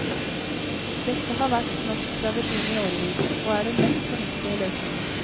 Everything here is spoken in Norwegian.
Dette har vært norsk tradisjon i årevis, og er den mest fornuftige løsningen.